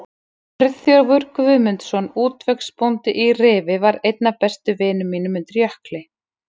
Friðþjófur Guðmundsson, útvegsbóndi í Rifi, var einn af bestu vinum mínum undir Jökli.